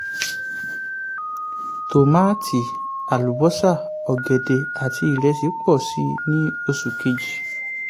tòmátì àlùbọ́sà ọ̀gẹ̀dẹ̀ àti ìrẹsì pọ̀ síi ní oṣù kejì.